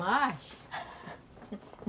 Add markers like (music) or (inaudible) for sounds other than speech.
Nós? (laughs)